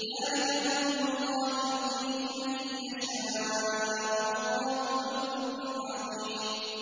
ذَٰلِكَ فَضْلُ اللَّهِ يُؤْتِيهِ مَن يَشَاءُ ۚ وَاللَّهُ ذُو الْفَضْلِ الْعَظِيمِ